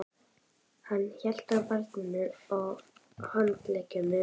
Hann hélt á barninu á handleggnum.